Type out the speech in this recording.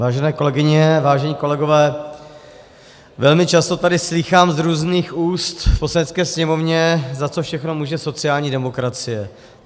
Vážené kolegyně, vážení kolegové, velmi často tady slýchám z různých úst v Poslanecké sněmovně, za co všechno může sociální demokracie.